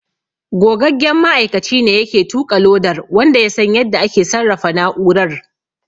Gogaggen ma'aikaci ne yake tuƙa lodar wanda ya san yadda ake sarrafa na'urar.